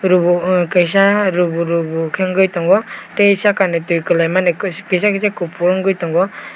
oro o kaisa rubo rubo kei wngoi tango tai saka ni tui kelaimani kisa kisa kopor ungoi tango.